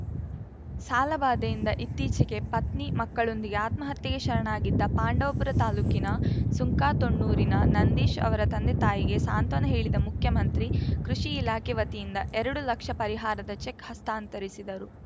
ಸಾಲಬಾಧೆಯಿಂದ ಇತ್ತೀಚೆಗೆ ಪತ್ನಿ ಮಕ್ಕಳೊಂದಿಗೆ ಆತ್ಮಹತ್ಯೆಗೆ ಶರಣಾಗಿದ್ದ ಪಾಂಡವಪುರ ತಾಲೂಕಿನ ಸುಂಕಾತೊಣ್ಣೂರಿನ ನಂದೀಶ್‌ ಅವರ ತಂದೆತಾಯಿಗೆ ಸಾಂತ್ವನ ಹೇಳಿದ ಮುಖ್ಯಮಂತ್ರಿ ಕೃಷಿ ಇಲಾಖೆ ವತಿಯಿಂದ ಎರಡು ಲಕ್ಷ ಪರಿಹಾರದ ಚೆಕ್‌ ಹಸ್ತಾಂತರಿಸಿದರು